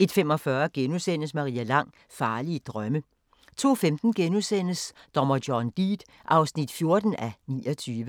01:45: Maria Lang: Farlige drømme * 02:15: Dommer John Deed (14:29)*